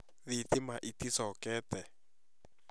Thitima ĩtĩ cokete